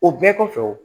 O bɛɛ kɔfɛ